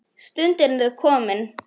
Stundin er komin.